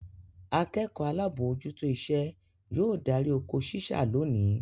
Akẹ́kọ̀ọ́ alábòójútó iṣẹ́ yóò darí oko ṣíṣá lónìí.